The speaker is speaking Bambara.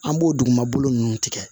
An b'o dugumabolo ninnu tigɛ